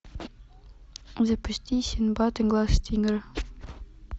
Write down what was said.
запусти синдбад и глаз тигра